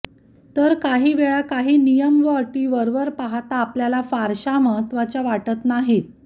तर काही वेळा काही नियम व अटी वरवर पहाता आपल्याला फारशा महत्वाच्या वाटत नाहीत